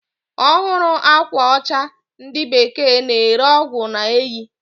Ọhụrụ akwa ocha ndi bekee na ere ọgwụ na-eyi.